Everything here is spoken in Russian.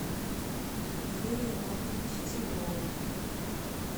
юрия павловича тельнова